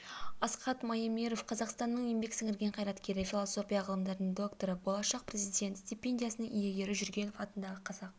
асхат маемиров қазақстанның еңбек сіңірген қайраткері философия ғылымдарының докторы болашақ президент стипендиясының иегері жүргенов атындағы қазақ